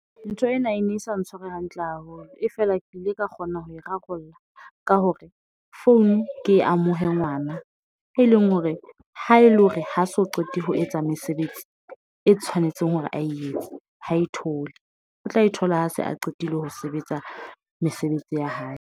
Ntho ena e ne sa ntshware hantle haholo, e fela, ke ile ka kgona ho e rarolla ka hore founu ke e amohe ngwana, e leng hore ha ele hore ha so qete ho etsa mesebetsi e tshwanetseng hore aye etse ha e thole, o tla e thola ha se a qetile ho sebetsa mesebetsi ya hae.